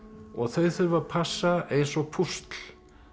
og þau þurfa að passa eins og púsl